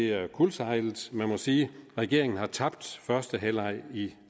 er kuldsejlet man må sige regeringen har tabt første halvleg i